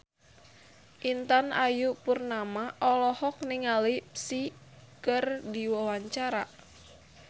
Intan Ayu Purnama olohok ningali Psy keur diwawancara